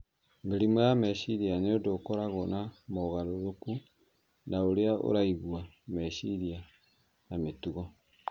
Mĩrimũ ya meciria nĩ ũndũ ũkoragwo na mogarũrũku ma ũrĩa ũraigua, meciria, na mĩtugo.